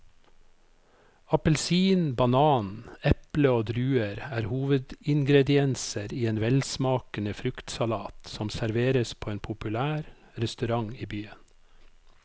Appelsin, banan, eple og druer er hovedingredienser i en velsmakende fruktsalat som serveres på en populær restaurant i byen.